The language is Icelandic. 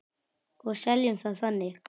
Og seljum það þannig.